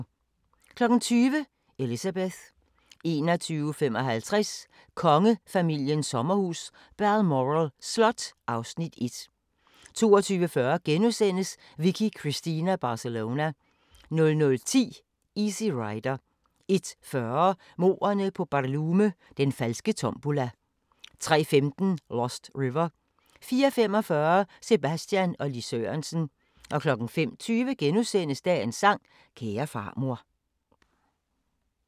20:00: Elizabeth 21:55: Kongefamiliens sommerhus – Balmoral Slot (Afs. 1) 22:40: Vicky Cristina Barcelona * 00:10: Easy Rider 01:40: Mordene på BarLume – Den falske tombola 03:15: Lost River 04:45: Sebastian og Lis Sørensen 05:20: Dagens sang: Kære farmor *